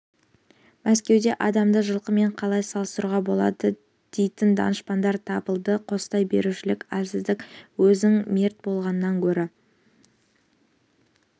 мәскеуде адамды жылқымен қалай салыстыруға болады дейтін данышпандар табылды қостай берушілік әлсіздік өзің мерт болғаныңнан гөрі